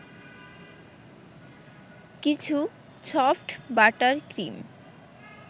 কিছু soft butter cream